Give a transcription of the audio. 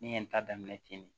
N' ye n ta daminɛ ten ne